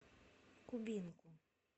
кубинку